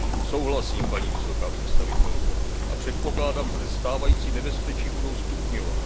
Souhlasím, paní vysoká představitelko, a předpokládám, že se stávající nebezpečí budou stupňovat.